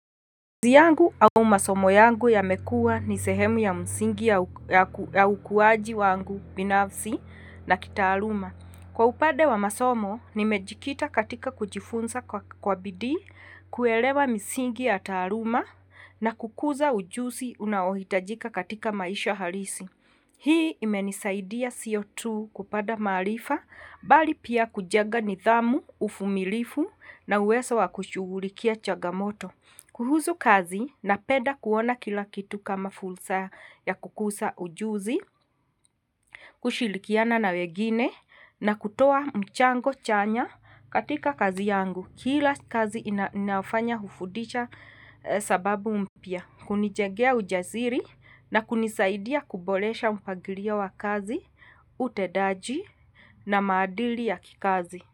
Muzi yangu au masomo yangu yamekuwa ni sehemu ya msingi ya ukuaji wangu binafsi na kitaaluma. Kwa upande wa masomo, nimejikita katika kujifunza kwa bidii, kuelewa misingi ya taaluma na kukuza ujusi unaohitajika katika maisha halisi. Hii imenisaidia sio kupata maarifa, bali pia kujenga nidhamu, uvumilifu na uwezo wa kushughulikia changamoto. Kuhusu kazi napenda kuona kila kitu kama fursa ya kukusa ujuzi, kushirikiana na wengine na kutoa mchango chanya katika kazi yangu. Kila kazi ninafanya hufundisha sababu mpya, hunijengea ujasiri na kunisaidia kuboresha mpangilio wa kazi, utendaji na maadili ya kikazi.